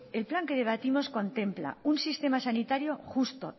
el plan que debatimos contempla un sistema sanitario justo